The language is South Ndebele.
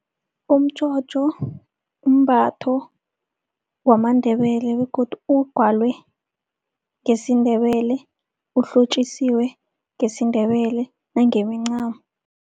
Umtjhotjho mbatho wamaNdebele begodu ugwalwe ngesiNdebele, uhlotjisiwe ngesiNdebele nangemincamo.